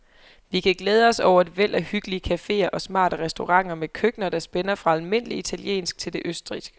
Vi kan glæde os over et væld af hyggelige caféer og smarte restauranter med køkkener, der spænder fra almindelig italiensk til det østrigske.